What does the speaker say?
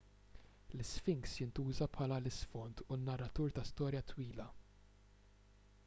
l-isfinks jintuża bħala l-isfond u n-narratur ta' storja twila